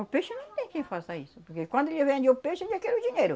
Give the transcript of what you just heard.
O peixe não tem quem faça isso, porque quando ele vende o peixe ele já quer o dinheiro.